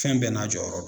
Fɛn bɛɛ n'a jɔyɔrɔ do